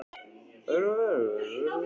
Hugrún Halldórsdóttir: Er þetta erfitt?